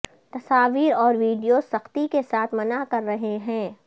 تصاویر اور ویڈیوز سختی کے ساتھ منع کر رہے ہیں